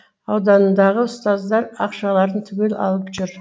ауданындағы ұстаздар ақшаларын түгел алып жүр